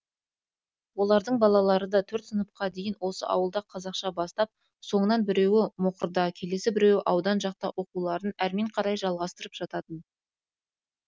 олардың да балалары төрт сыныпқа дейін осы ауылда қазақша бастап соңынан біреуі мұқырда келесі біреуі аудан жақта оқуларын әрмен қарай жалғастырысып жататын